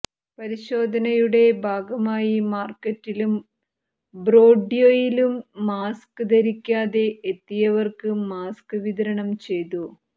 പരിശോധനയുടെ ഭാഗമായി മാര്ക്കറ്റിലും ബ്രോഡ്വേയിലും മാസ്ക് ധരിക്കാതെ എത്തിയവര്ക്ക് മാസ്ക് വിതരണം ചെയ്തു